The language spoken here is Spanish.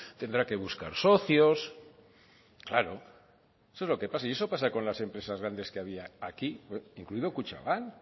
tendrá que buscar socios claro eso es lo que pasa y eso pasa con las empresas grandes que había aquí incluido kutxabank